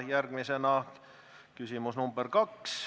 Järgmisena küsimus nr 2.